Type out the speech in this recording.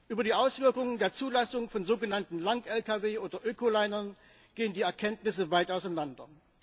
Über die Auswirkungen der Zulassung von sogenannten Lang Lkw oder Ökolinern gehen die Erkenntnisse weit auseinander.